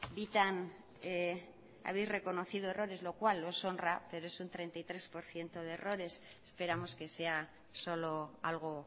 bitan habéis reconocido errores lo cual os honra pero es un treinta y tres por ciento de errores esperamos que sea solo algo